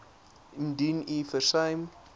indien u versuim